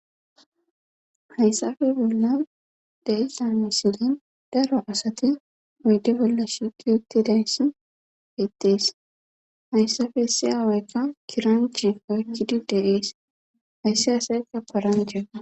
hayssafe bolla deiza misilen daro asati oyde bolla shiqetidayssi bettees hayssafe siyaa woykko kiranchi oykkidi deees hayssi asayka paranchea